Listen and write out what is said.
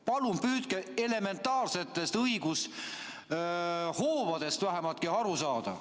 Palun püüdke vähemalt elementaarsetest õigushoobadestki aru saada!